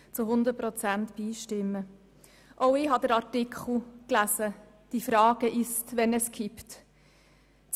Auch ich habe den Artikel «Die Frage ist, wann es kippt» gelesen.